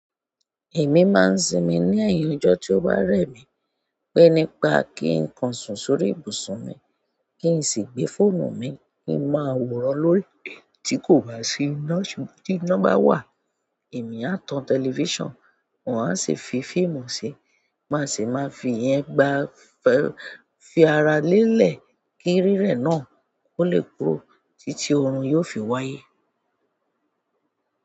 Èmi máa ń sinmi ní ẹ̀yìn ọjọ́ tí ó bá rẹ̀ mí, pé nípa kí n kan sùn sórí ibùsùn mi, kí n sì gbé fóònù mi kí n máa wòran lórí, tí kò bá sí nọ́ọ̀sì, tí iná bá wà, èmi á tan tẹlifíṣàn, wọ́n á sì fi fíìmù si má sì máa fi yẹn gba fẹ́ fi ara lélẹ̀ kí rírẹ̀ náà kó lè kúrò títí oorun yóò fi wáyé.